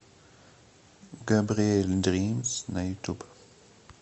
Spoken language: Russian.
габриэль дримз на ютуб